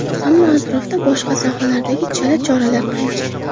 Ammo atrofda boshqa sohalardagi chala choralar qancha?